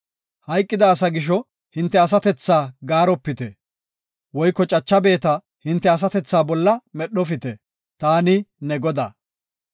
“Hayqida asa gisho hinte asatethaa gaaropite; woyko cacha beeta hinte asatethaa bolla medhofite. Taani ne Godaa.